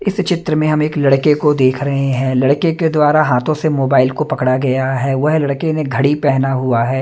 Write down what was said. इस चित्र में हम एक लड़के को देख रहे हैं लड़के के द्वारा हाथों से मोबाइल को पकड़ा गया है वह लड़के ने घड़ी पहना हुआ है।